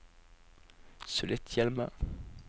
Sulitjelma